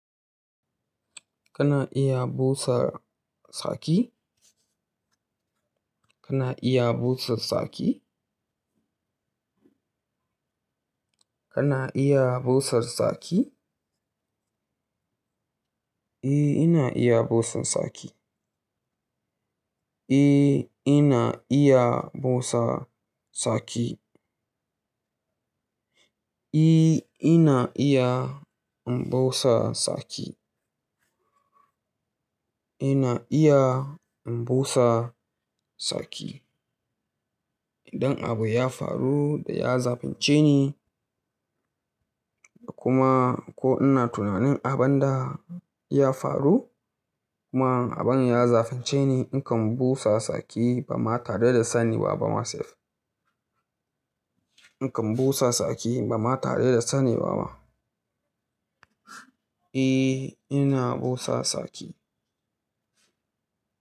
Kana iya busar saki? Kana iya busar saki? Kana iya busar saki? Eh, ina iya busan saki. Eh, ina iya busa saki. Eh, ina iya in busa saki. Ina iya in busa saki. Idan abu ya faru da ya zafince ni, kuma ko ina tunanin abin da ya faru kuma abin ya zafince ni, in kan busa saki ba ma tare da sani ba ba masif. In kan busa saki ba ma tare da sani ba ma. Eh, ina busa saki.